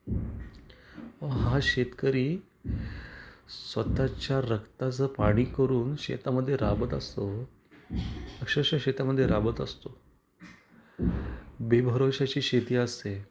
अहो हां शेतकरी स्वतः च्या रक्ताचं पाणी करून शेता मध्ये राबत असतो अक्षरशः शेतामध्ये राबत असतो बेभरोश्याची शेती असते.